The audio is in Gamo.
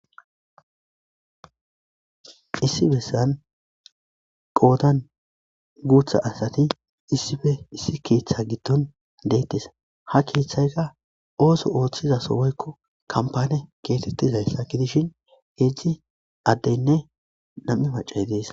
issi bessan qoodan guutha asati issife issi keeththe giddon deettis ha keeththayka ooso ooththizaso woykko kampane keetettizayssa gidishin heejzdzi addeynne nam7i macay dees